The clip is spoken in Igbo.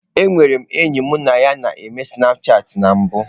Enwere m enyi mụ na ya n'eme snapchatị na mbụ.